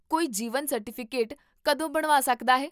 ਕੋਈ ਜੀਵਨ ਸਰਟੀਫਿਕੇਟ ਕਦੋਂ ਬਣਵਾ ਸਕਦਾ ਹੈ?